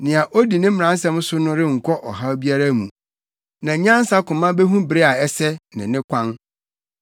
Nea odi ne mmaransɛm so no renkɔ ɔhaw biara mu, na nyansa koma behu bere a ɛsɛ, ne ne kwan.